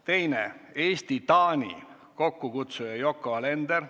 Teiseks, Eesti-Taani, kokkukutsuja on Yoko Alender.